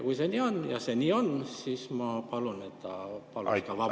Kui see nii on – ja see nii on –, siis ma palun, et ta paluks vabandust.